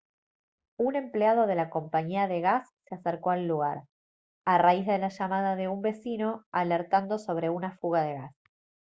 un empleado de la compañía de gas se acercó al lugar a raíz de la llamada de un vecino alertando sobre una fuga de gas